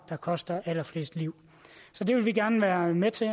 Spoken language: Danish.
koster allerflest liv så det vil vi gerne være med til